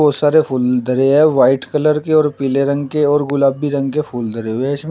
बहुत सारे फूल धरे हैं वाइट कलर के और पीले रंग के और गुलाबी रंग के फूल धरे हुए इसमें।